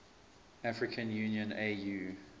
african union au